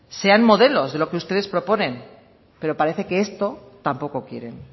sean modelos de lo que ustedes proponen pero parece que esto tampoco quieren